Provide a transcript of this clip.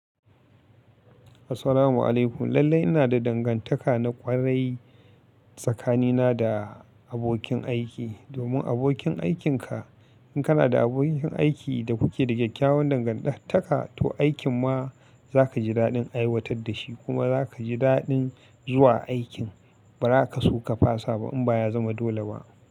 Assalamu alaikum. Lallai ina da dangantaka na ƙwarai tsakanina da abokin aiki, domin abokin aikinka in kana da abokin aiki da kuke da kyakyawan dangantaka to aikin ma za ka ji daɗin aiwatar da shi kuma za ka ji daɗin zuwa aikin. Ba za ka so ka fasa ba in ba ya zama dole ba.